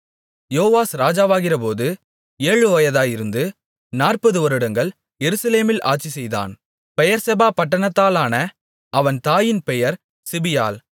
யோவாஸ் ராஜாவாகிறபோது ஏழு வயதாயிருந்து நாற்பது வருடங்கள் எருசலேமில் ஆட்சிசெய்தான் பெயெர்செபா பட்டணத்தாளான அவன் தாயின் பெயர் சிபியாள்